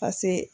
pase